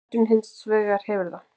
Katrín hins vegar hefur það.